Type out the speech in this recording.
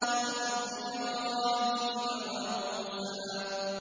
صُحُفِ إِبْرَاهِيمَ وَمُوسَىٰ